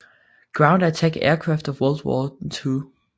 Ground Attack Aircraft of World War II